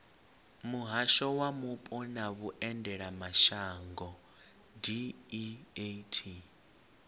muhasho wa mupo na vhuendelamashango deat